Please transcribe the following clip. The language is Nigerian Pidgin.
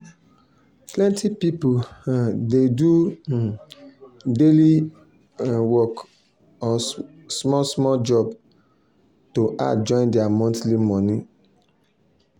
plenty people um dey do um daily um work or small small job to add join their monthly money.